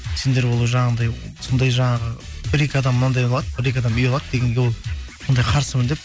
сендер ол жанағындай сондай жаңағы бір екі адам мынандай қылады бір екі адам үй алады дегенге ол ондайға қарсымын деп